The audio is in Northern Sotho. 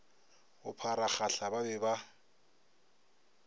go pharagahla ba be ba